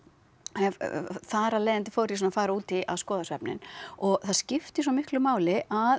hef þar af leiðandi fór ég svona að fara út í að skoða svefninn og það skiptir svo miklu máli að